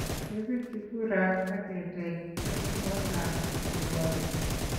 Kepirchi kuraat ak keteech en kootab kirwakik